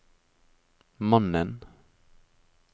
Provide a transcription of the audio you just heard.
mannen